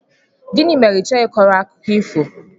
Gịnị mere ị chọghị ị kọrọ akụkọ ifo?